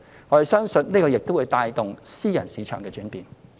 我們相信這亦會帶動私人市場的轉變。